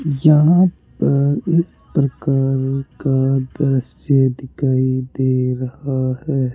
यहां पर इस प्रकार का दृश्य दिखाई दे रहा है।